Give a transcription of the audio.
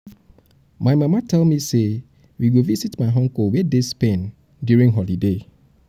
my mama tell mama tell me say we go visit my uncle wey dey spain during the holiday